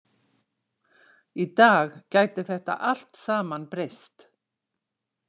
Í dag gæti þetta allt saman breyst.